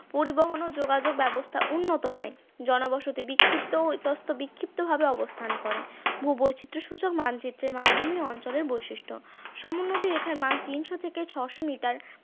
পরিবহন ও যোগাযোগ ব্যবস্থা উন্নত নয়, জনবসতি বিক্ষিপ্ত ইতস্ত বিক্ষিপ্ত ভাবে অবস্থান করে, ভূবৈচিত্র সূচক মানচিত্রে মালভূমি অঞ্চলের বৈশিষ্ট্য, সমোন্নতি রেখার মাপ তিন থেকে ছয়শ মিটার